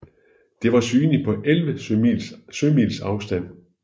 Det var synligt på 11 sømils afstand